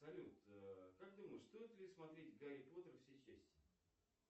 салют как думаешь стоит ли смотреть гарри поттера все части